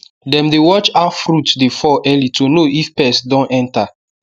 dem dey watch how fruit dey fall early to know if pest don enter